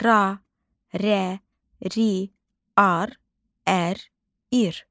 Ra, rə, ri, ar, ər, ir.